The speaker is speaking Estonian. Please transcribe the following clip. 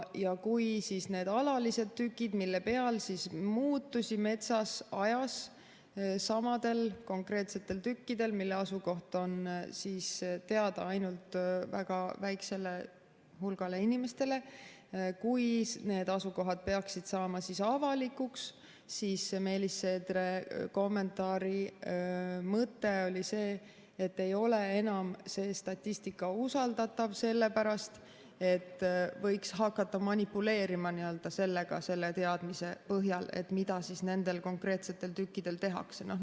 Kui nende alaliste tükkide asukohad, mille peal muutusi metsas ajas samadel konkreetsetel tükkidel, mille asukoht on teada ainult väga väikesele hulgale inimestele, peaksid saama avalikuks, siis Meelis Seedre kommentaari mõte oli see, et ei ole enam see statistika usaldatav sellepärast, et võiks hakata manipuleerima selle teadmise põhjal, mida nendel konkreetsetel tükkidel tehakse.